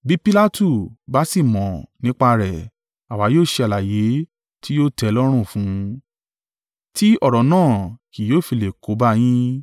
Bí Pilatu bá sì mọ̀ nípa rẹ̀, àwa yóò ṣe àlàyé tí yóò tẹ́ ẹ lọ́rùn fún un, tí ọ̀rọ̀ náà kì yóò fi lè kó bá yín.”